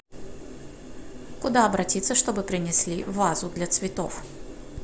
куда обратиться чтобы принесли вазу для цветов